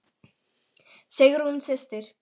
Sigrún systir.